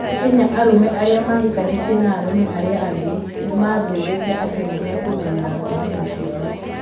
Kenya, arũme arĩa mahikanĩtie na arũme arĩa angĩ, nĩ mathuurĩte atĩ nĩ mekũmenyera ngomanio ciao.